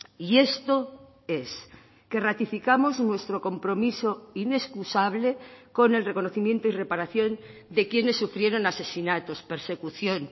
y esto es que ratificamos nuestro compromiso inexcusable con el reconocimiento y reparación de quienes sufrieron asesinatos persecución